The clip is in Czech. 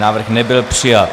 Návrh nebyl přijat.